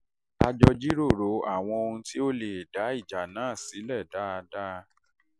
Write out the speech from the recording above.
a jọ jíròrò àwọn ohun tó lè dá ìjà sílẹ̀ náà dáadáa